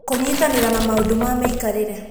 Kũnyitanĩra na maũndũ ma mĩikarĩre.